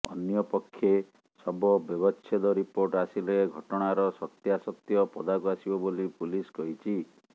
ଅନ୍ୟପକ୍ଷେ ଶବ ବ୍ୟବଚ୍ଛେଦ ରିପୋର୍ଟ ଆସିଲେ ଘଟଣାର ସତ୍ୟାସତ୍ୟ ପଦାକୁ ଆସିବ ବୋଲି ପୁଲିସ୍ କହିଛି